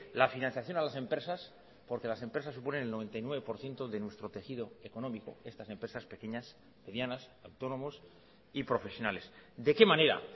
la financiación a las empresas porque las empresas suponen el noventa y nueve por ciento de nuestro tejido económico estas empresas pequeñas medianas autónomos y profesionales de qué manera